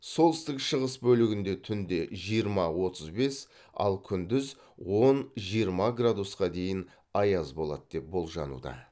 солтүстік шығыс бөлігінде түнде жиырма отыз бес ал күндіз он жиырма градусқа дейін аяз болады деп болжануда